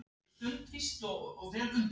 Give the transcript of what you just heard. Viltu ekki frekar óska Lárusi til hamingju?